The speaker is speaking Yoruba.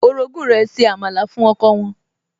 Orogún rẹ̀ se àmàlà fún ọkọ wọn